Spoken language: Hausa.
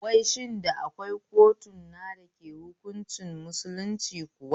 Wai shin akwai kotuna da ake hunkunci musulunci kuwa?